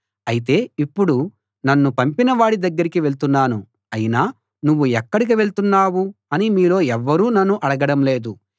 అయితే ఇప్పుడు నన్ను పంపినవాడి దగ్గరికి వెళ్తున్నాను అయినా నువ్వు ఎక్కడికి వెళ్తున్నావు అని మీలో ఎవ్వరూ నన్ను అడగడం లేదు